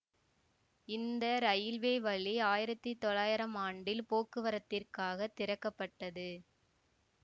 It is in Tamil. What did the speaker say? இந்த இரயில்வே வழி ஆயிரத்தி தொள்ளாயிரம் ஆண்டில் போக்குவரத்திற்காகத் திறக்க பட்டது